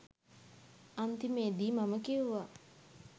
අන්තිමේදී මම කිව්වා